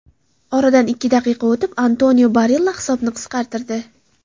Oradan ikki daqiqa o‘tib, Antonio Barilla hisobni qisqartirdi.